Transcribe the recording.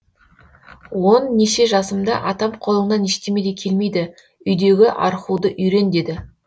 он неше жасымда атам қолыңнан ештеме де келмейді үйдегі архуды үйрен деді